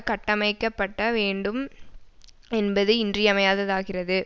கட்டமைக்கப்பட்ட வேண்டும் என்பது இன்றியமையாததாகிறது